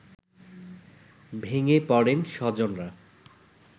ভেঙে পড়েন স্বজনরা